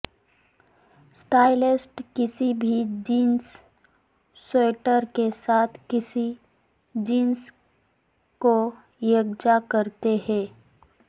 stylist کسی بھی jeans sweater کے ساتھ کسی جینس کو یکجا کرتے ہیں